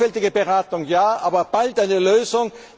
Sorgfältige Beratung ja, aber bald eine Lösung.